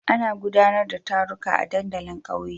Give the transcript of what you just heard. Ana gudanar da taruka a dandalin kauye.